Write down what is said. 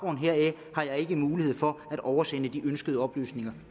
mulighed for at oversende de ønskede oplysninger